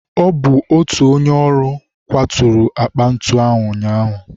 Ọ bụ otu onye ọrụ kwaturu akpa ntu ahụ ụnyaahụ.